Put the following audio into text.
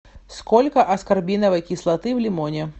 сколько аскорбиновой кислоты в лимоне